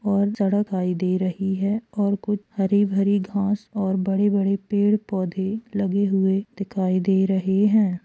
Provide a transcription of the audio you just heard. और सड़क दिखाई दे रही है कुछ हरी भारी घास और बड़े बड़े पेड़ पौधे लगे हुए दिखाई दे रहे हैं।